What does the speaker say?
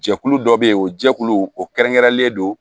Jɛkulu dɔ bɛ yen o jɛkulu o kɛrɛnkɛrɛnlen don